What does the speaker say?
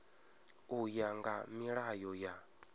u ya nga milayo ya